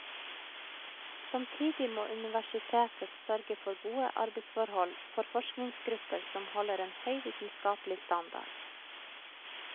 Samtidig må universitetet sørge for gode arbeidsforhold for forskningsgrupper som holder en høy vitenskapelige standard.